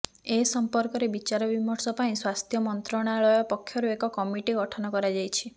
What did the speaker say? ଏ ସମ୍ପର୍କରେ ବିଚାରବିମର୍ଶ ପାଇଁ ସ୍ବାସ୍ଥ୍ୟ ମନ୍ତ୍ରଣାଳୟ ପକ୍ଷରୁ ଏକ କମିଟି ଗଠନ କରାଯାଇଛି